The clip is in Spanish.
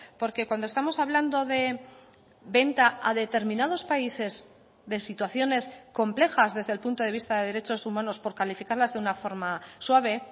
porque cuando estamos hablando de venta a determinados países de situaciones complejas desde el punto de vista de derechos humanos por calificarlas de una forma suave